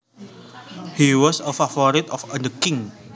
He was a favorite of the king